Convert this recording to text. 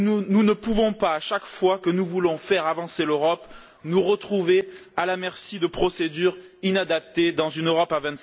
Nous ne pouvons pas, à chaque fois que nous voulons faire avancer l'Europe, nous retrouver à la merci de procédures inadaptées dans une Europe à